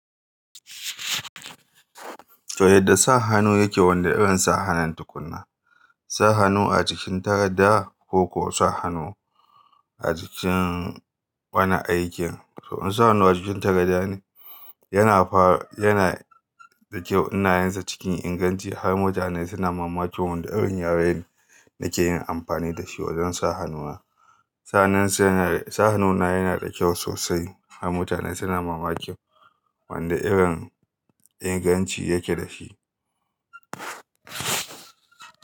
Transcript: To yadda sa hannu yake wanda irin sa hannun tukunna, sa hannu a jikin takarda koko sa hannu a jikin wani aikin. To in sa hannu a cikin tangaɗa ne yana fara, yana ɗauke unayansa cikin inganci har mutane suna mamaki wanda irin yaren da ke yin amfani da shi wajen sa hannuna. Sanin sa hannu na yana da kyau sosai har mutane suna mamaki wanda irin inganci yake da shi.